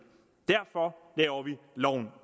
derfor laver vi loven